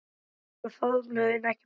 Annars voru faðmlög ekki brúkuð á